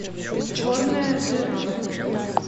черная дыра